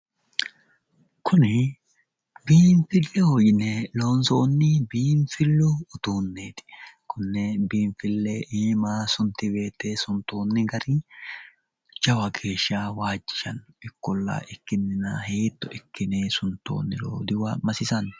Kuni biinfilleho yine loonsoonni biinfillu uduunneeti. Konne biinfille iima sunti woyite suntoonni gari jawa geeshsha waajjishanno. Ikkolla ikkinnina hiitto ikkine suntoonniro dimasisanno?